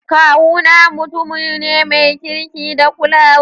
Kawu na mutumu ne mai kirki da kulawa.